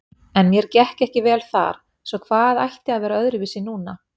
En mér gekk ekki vel þar, svo hvað ætti að vera öðruvísi núna?